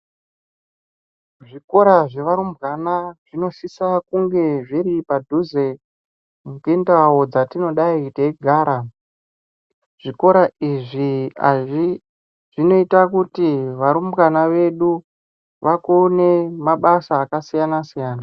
Zvikora zvevarumbwana zvinosise kunge zviri padhuze nendau dzatingadayi teigara. Zvikora izvi zvinoite kuti varumbwana vedu vakone mabasa akasiyana siyana.